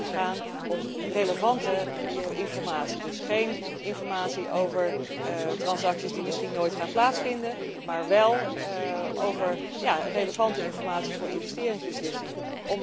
Het moet gaan om relevante informatie, geen informatie over transacties die misschien nooit gaan plaatsvinden, maar wél relevante informatie voor investeringsbeslissingen.